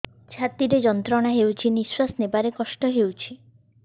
ଛାତି ରେ ଯନ୍ତ୍ରଣା ହେଉଛି ନିଶ୍ଵାସ ନେବାର କଷ୍ଟ ହେଉଛି